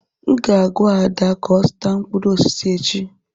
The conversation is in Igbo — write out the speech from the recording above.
M ga-agwa Ada ka ọ zụta mkpụrụ osisi echi.